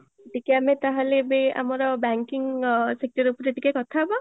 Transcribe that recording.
ଟିକେ ଆମେ ତାହେଲେ ଏବେ ଆମର banking sector ଉପରେ ଟିକେ କଥା ହବା